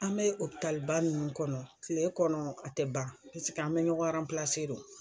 An mɛ ba minnu kɔnɔ kile kɔnɔ a tɛ ban paseke an mɛ ɲɔgɔn de o.